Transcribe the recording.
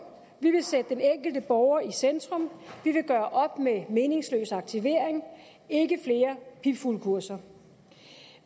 vi vil sætte den enkelte borger i centrum vi vil gøre op med meningsløs aktivering ikke flere pipfuglekurser